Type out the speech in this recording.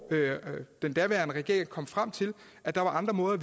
den daværende regering kom frem til at der var andre måder